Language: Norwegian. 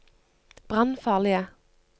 brannfarlige